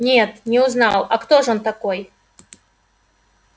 нет не узнал а кто ж он такой